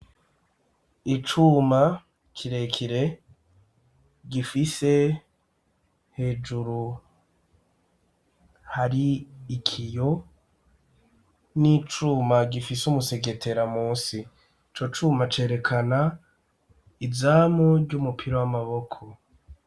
Icuma kirekire gifise hejuru hari ikiyo n'icuma gifise umusegetera musi ico cuma cerekana izamu ry'umupira w'amaboko.